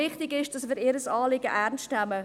Es ist wichtig, ihr Anliegen ernst zu nehmen.